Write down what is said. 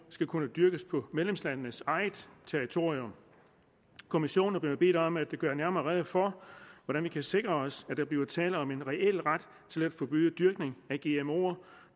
skal kunne dyrkes på medlemslandenes eget territorium kommissionen er blevet bedt om at gøre nærmere rede for hvordan vi kan sikre os at der bliver tale om en reel ret til at forbyde dyrkning